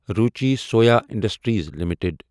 Ruchi Soya Industries limited